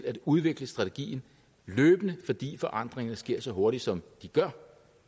at udvikle strategien løbende fordi forandringerne sker så hurtigt som de gør